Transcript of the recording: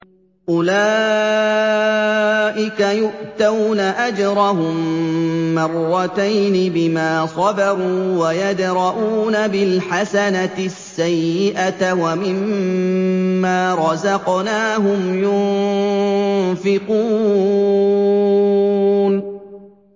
أُولَٰئِكَ يُؤْتَوْنَ أَجْرَهُم مَّرَّتَيْنِ بِمَا صَبَرُوا وَيَدْرَءُونَ بِالْحَسَنَةِ السَّيِّئَةَ وَمِمَّا رَزَقْنَاهُمْ يُنفِقُونَ